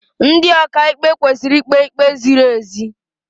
Ndị ọkaịkpe kwesịrị ikpe ikpe ziri ezi.